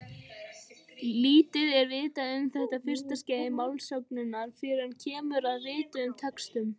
Lítið er vitað um þetta fyrsta skeið málsögunnar fyrr en kemur að rituðum textum.